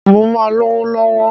Mó máa lówó lọ̀wọ̀.